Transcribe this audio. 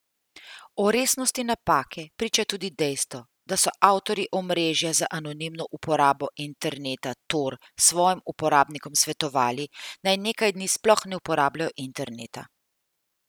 O resnosti napake priča tudi dejstvo, da so avtorji omrežja za anonimno uporabo interneta Tor svojim uporabnikom svetovali, naj nekaj dni sploh ne uporabljajo interneta.